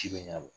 Ci bɛ ɲ'a la